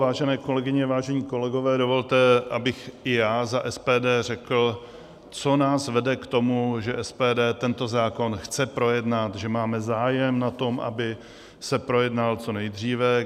Vážené kolegyně, vážení kolegové, dovolte, abych i já za SPD řekl, co nás vede k tomu, že SPD tento zákon chce projednat, že máme zájem na tom, aby se projednal co nejdříve.